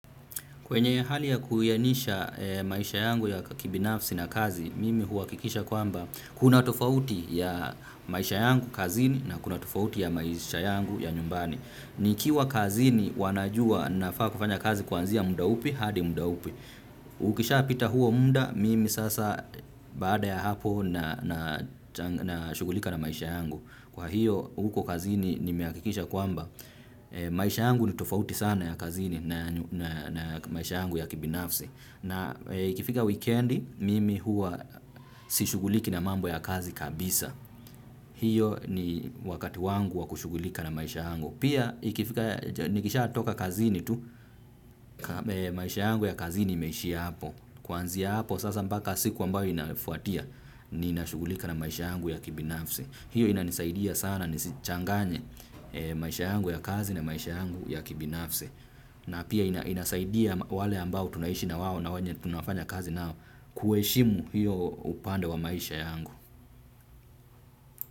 Kwenye hali ya kuiyanisha maisha yangu ya kibinafsi na kazi, mimi huakikisha kwamba kuna tofauti ya maisha yangu kazini na kuna tofauti ya maisha yangu ya nyumbani. Nikiwa kazini wanajua nafaa kufanya kazi kuanzia muda upi, hadi muda upi. Ukisha pita huo muda, mimi sasa baada ya hapo nashugulika na maisha yangu. Kwa hiyo huko kazini nimeakikisha kwamba maisha yangu ni tofauti sana na ya kazini na maisha yangu ya kibinafsi. Na ikifika wikendi mimi huwa sishuguliki na mambo ya kazi kabisa. Hiyo ni wakati wangu wa kushugulika na maisha yangu. Pia ikifika nikishatoka kazini tu maisha yangu ya kazini imeishia hapo. Kuanzia hapo sasa mbaka siku ambayo inafuatia ninashugulika na maisha yangu ya kibinafsi. Hiyo inanisaidia sana nisichanganye maisha yangu ya kazi na maisha yangu ya kibinafsi. Na pia inasaidia wale ambao tunaishi na wawo na wenye tunafanya kazi nao kuheshimu hiyo upande wa maisha yangu.